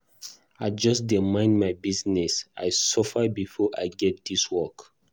I just dey mind my business, I suffer before I get dis work.